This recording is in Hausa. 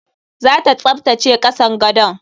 Zata tsaftace kasan gadon.